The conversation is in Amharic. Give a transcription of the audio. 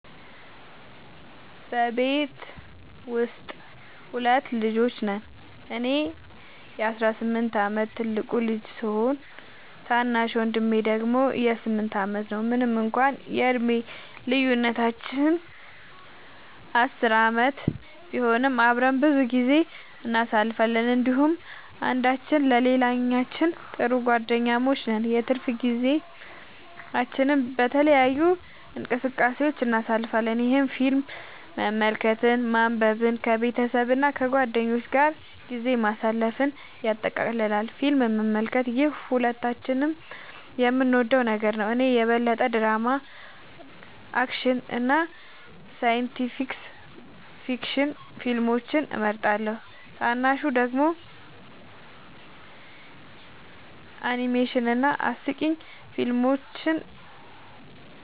በቤተሰቤ ውስጥ ሁለት ልጆች ነን - እኔ የ18 ዓመት ትልቁ ልጅ ሲሆን፣ ታናሽ ወንድሜ ደግሞ 8 ዓመቱ ነው። ምንም እንኳን የዕድሜ ልዩነታችን 10 ዓመት ቢሆንም፣ አብረን ብዙ ጊዜ እናሳልፋለን እንዲሁም አንዳችን ለሌላችን ጥሩ ጓደኛሞች ነን። የትርፍ ጊዜያችንን በተለያዩ እንቅስቃሴዎች እናሳልፋለን፣ ይህም ፊልም መመልከትን፣ ማንበብን፣ ከቤተሰብ እና ከጓደኞች ጋር ጊዜ ማሳለፍን ያጠቃልላል። ፊልም መመልከት - ይህ ሁለታችንም የምንወደው ነገር ነው። እኔ የበለጠ ድራማ፣ አክሽን እና ሳይንስ ፊክሽን ፊልሞችን እመርጣለሁ፣ ታናሹ ደግሞ አኒሜሽን እና አስቂኝ ፊልሞችን